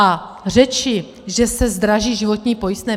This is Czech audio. A řeči, že se zdraží životní pojistné?